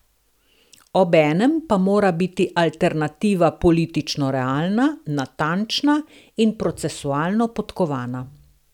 Obenem pa mora biti alternativa politično realna, natančna in procesualno podkovana.